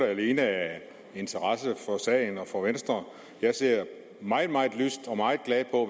alene af interesse for sagen og for venstre jeg ser meget meget lyst og meget glad på